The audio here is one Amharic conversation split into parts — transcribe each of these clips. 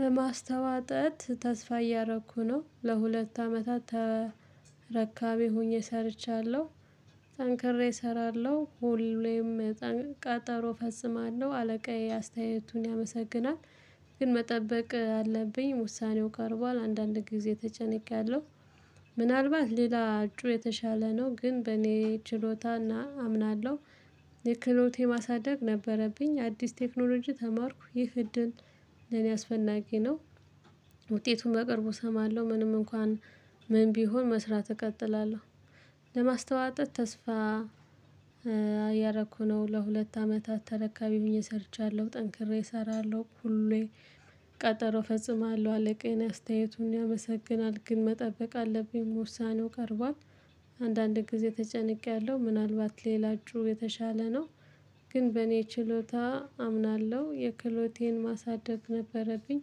ለማስተዋጠት ተስፋ እያረኩ ነው ለሁለት አመታት ተረካቢ ሆኜ ሰርቻለሁ። ተንክሬ እሰራለሁ ሁሌም ቀጠሮ ፈጽማለሁ አለቃዬ አስተያየቱን ያመሰሰግናል። ግን መጠበቅ አለብኝ ውሳኔው ቀርቧል አንዳንድ ጊዜ ተጨነቅቄያለሁ። ምናልባት ሌላ እጩ የተሻለ ነው ግን በእኔ ችሎታና አምናለሁ። የክህሎቴን ማሳደግ ነበረብኝ አዲስ ቴክኖሎጂ ተማርኩ ይህ እድል ለኔ አስፈላጊ ነው። ውጤቱን በቅረቡ እሰማለሁ ምንም እንኳን ምን ቢሆን መስራት እቀጥላለሁ። ለማስተዋጠት ተስፋ። እያረኩ ነው ለሁለት አመታት ተረካቢ ሆኜ ሰርቻለሁ ጠንክሬ እሰራለሁ ሁሌ። ቀጠሮ እፈጽማለሁ አለቃዬን አስተያየቱን ያመሰግናል ግን መጠበቅ አለብኝ ውሳኔው ቀርቧል። አንዳንድ ጊዜ ተጨንቄያለሁ ምናልባት ሌላችሁ የተሻለ ነው። ግን በእኔ ችሎታ አምናለሁ የክህሎቴን ማሳደግ ነበረብኝ።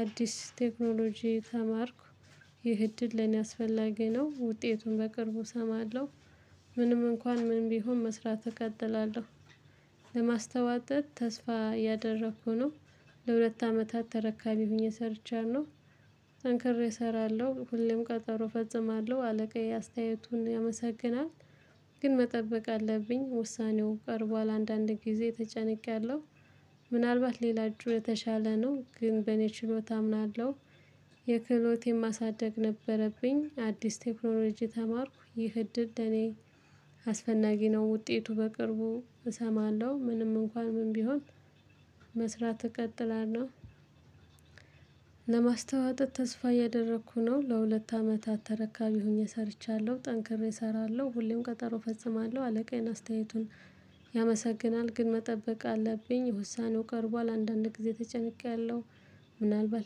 አዲስ ቴክኖሎጂ ተማርኩ። ህይ እድል ለኔ አስፈላጊ ነው ውጤቱን በቅርቡ እሰማለሁ። ምንም እንኳን ምን ቢሆን መስራት እቀጥላለሁ። ለማስተዋወቅ ተስፋ ያደረኩ ነው። ለሁለት አመታት ተረካቢ ሆኜ ሰርቻለሁ። ጠንክሬ እሰራለሁ ሁሌም ቀጠሮ እፈጽማለሁ አለቃዬ አስተያየቱን ያመሰግናል። ግን መጠበቅ አለብኝ ውሳኔው ቀርቧል አንዳንድ ጊዜ ተጨነቄያለሁ። ምናልባት ሌላ እጩ የተሻለ ነው ግን በኔ ችሎታ አምናለሁ። ክህሎቴን ማሳደግ ነበረብኝ አዲስ ቴክኖሎጂ ተማርኩ ይህ እድል ለእኔ። አስፈናጊ ነው ውጤቱ በቅርቡ እሰማለሁ ምንም እንኳን ምን ቢሆን መስራት እቀጥላለሁ። ለማስተዋወቅ ተስፋ እያደረኩ ነው ለሁለት አመታት ተረካቢ ሆኜ ሰርቻለሁ ጠንክሬ እሰራለሁ ሁሌም ቀጠሮ እፈጽማለሁ አለቃዬን አስተያየቱን። ያመሰግናል ግን መጠበቅ አለብኝ ውሳኔው ቀርቧል አንዳንድ ጊዜ ተጨንቄያለሁ። ምናልባት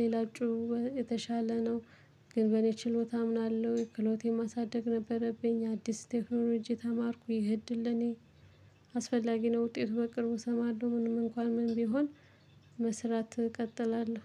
ሌላ እጩ የተሻለ ነው። ግን በኔ ችሎታ አምናለሁ ክህሎቴን ማሳደግ ነበረብኝ አዲስ ቴክኖሎጂ ተማርኩ ይህ እድል ለኔ። አስፈላጊ ነው ውጤቱ በቅርቡ እሰማለሁ ምንም እንኳን ምን ቢሆን። መስራት እቀጥላለሁ።